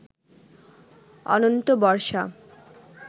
অনন্ত বর্ষা